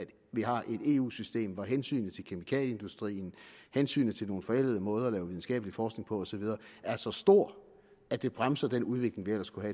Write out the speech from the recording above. vi har et eu system hvor hensynet til kemikalieindustrien og hensynet til nogle forældede måder at lave videnskabelig forskning på og så videre er så stort at det bremser den udvikling vi ellers kunne